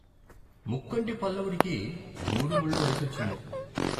ముక్కంటి పల్లవుడికి మూడుమూళ్ళ వయసొచ్చింది.